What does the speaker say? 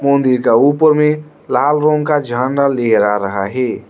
मंदिर का ऊपर में लाल रंग का झंडा लहरा रहा है।